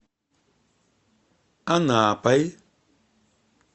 анапой